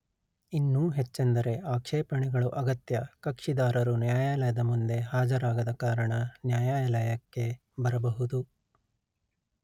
ಇನ್ನೂ ಹೆಚ್ಚೆಂದರೆ ಆಕ್ಷೇಪಣೆಗಳು ಅಗತ್ಯ ಕಕ್ಷಿದಾರರು ನ್ಯಾಯಾಲಯದ ಮುಂದೆ ಹಾಜರಾಗದ ಕಾರಣ ನ್ಯಾಯಾಲಯಕ್ಕೆ ಬರಬಹುದು